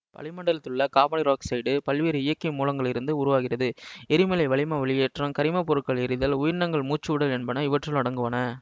வளிமண்டலத்தில் உள்ள காபனீரொக்சைட்டு பல்வேறு இயக்கிய மூலங்களிலிருந்து உருவாகிறது எரிமலை வளிம வெளியேற்றம் கரிமப் பொருட்கள் எரிதல் உயிரினங்கள் மூச்சுவிடல் என்பன இவற்றுள் அடங்குவன